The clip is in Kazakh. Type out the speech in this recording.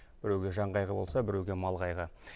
біреуге жан қайғы болса біреуге мал қайғы